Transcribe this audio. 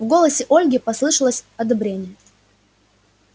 в голосе ольги послышалось одобрение